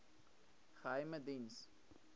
geheimediens